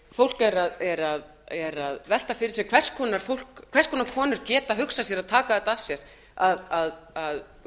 fólk er að velta fyrir sér hvers konar konur geta hugsað sér að taka þetta að sér að